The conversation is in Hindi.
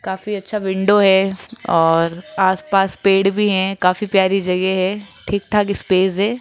काफी अच्छा विंडो हैं और आसपास पेड़ भी हैं काफी प्यारी जगह हैं ठीक ठाक स्पेस हैं।